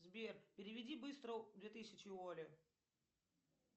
сбер переведи быстро две тысячи оле